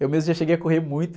Eu mesmo já cheguei a correr muito.